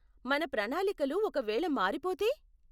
మన ప్రణాలికలు ఒక వేళ మారిపోతే?